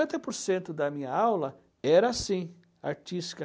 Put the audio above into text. cinquenta por cento da minha aula era assim, artística.